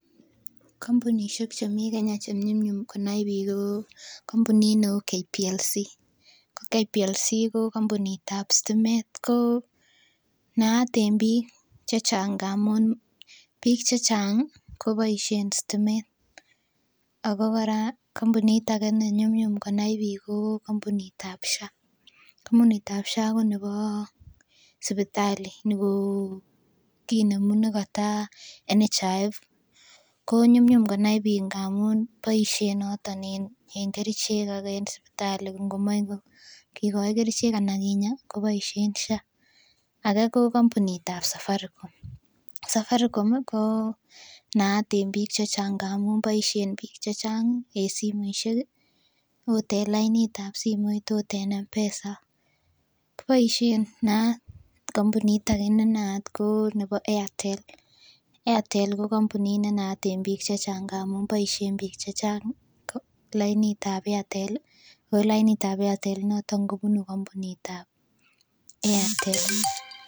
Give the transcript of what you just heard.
Kampunisiek chemii Kenya chenyumnyum konai biik ko kampunit neu Kenya Power Lighting Company ko Kenya Power Lighting Company ko kampunit ab stimet ko naat en biik chechang ngamun biik chechang koboisien stimet ako kora kampunit ake nenyumnyum konai biik ko kampunit ab Social Health Authority kampunit ab Social Health Authority ko nebo sipitali nikokimemu nekata National Hospital Insurance Fund ko nyumnyum konai biik amun boisien noton en kerichek ak en sipitali ngomoee kikoi kerichek ana kinyaa koboisien Social Health Authority ake ko kampunit ab Safaricom, Safaricom ko naat en biik chechang amun boisien biik chechang en simoisiek ih okot en lainit ab simoit ot en M-pesa kiboisien naat. Kampunit ake nenaat ko nebo Airtel, Airtel ko kampunit ne naat en biik chechang amun boisien biik chechang lainit ab Airtel ih ako lainit ab Airtel initon kobunu kampunit ab Airtel